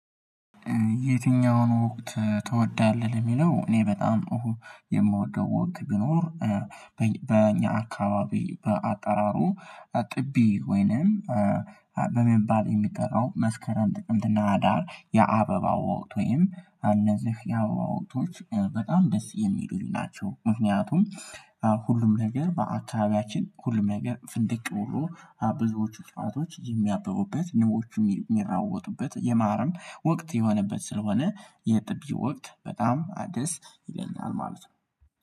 የትኛውን ወቅት ትወዳለህ? ለሚለው እኔ በጣም የምወደው ወቅት ቢኖር አካባቢ በአጠራሩ ጥቢ ወይንም በሚባል የሚጠራው መስከረም ጥቅምት እና ህዳር የአበባ ወቅት ወይም እነዚህ የአበባ ወቅቶች በጣም ደስ የሚሉኝ ናቸው ምክንያቱም ሁሉም ነገር በአካባቢያችን ሁሉም ነገር ፍንድቅ ብሎ ብዙዎቹ ጨዋታዎች የሚያበቡበት ንቦቹ የሚራወጡበት የማርም ወቅት የሆነበት ስለሆነ የጥቢ ወቅት በጣም አዲስ ይለኛል ማለት ነው